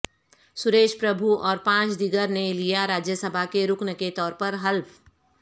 سریش پربھو اور پانچ دیگر نے لیا راجیہ سبھا کے رکن کے طورپر حلف